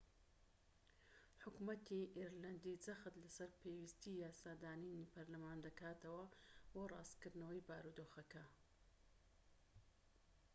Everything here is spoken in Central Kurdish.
حکومەتی ئیرلەندی جەخت لەسەر پێویستیی یاسادانانی پەرلەمانی دەکاتەوە بۆ ڕاستکردنەوەی بارودۆخەکە